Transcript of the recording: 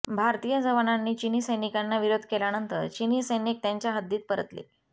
भारतीय जवानांनी चिनी सैनिकांना विरोध केल्यानंतर चिनी सैनिक त्यांच्या हद्दीत परतले